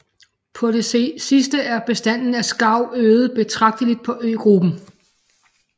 På det sidste er bestanden af skarv øget betragteligt på øgruppen